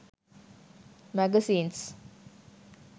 magazines